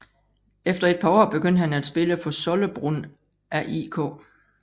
Efter et par år begyndte han at spille for Sollebrunn AIK